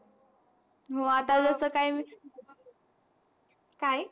हो. आता जस काय काय?